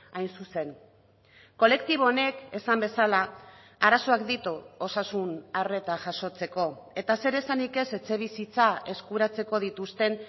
hain zuzen kolektibo honek esan bezala arazoak ditu osasun arreta jasotzeko eta zer esanik ez etxebizitza eskuratzeko dituzten